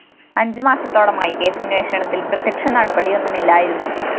അഞ്ചു മാസത്തോളമായി കേസന്വേഷണത്തില്‍ പ്രത്യക്ഷ നടപടിയൊന്നുമില്ലായിരുന്നു